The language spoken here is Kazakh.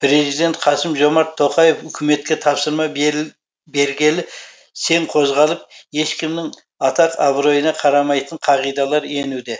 президент қасым жомарт тоқаев үкіметке тапсырма бергелі сең қозғалып ешкімнің атақ абыройына қарамайтын қағидалар енуде